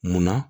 Munna